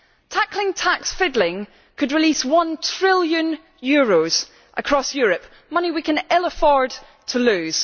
Tackling tax fiddling could release one trillion euros across Europe money we can ill afford to lose.